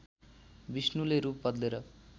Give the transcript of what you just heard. विष्णुले रूप बदलेर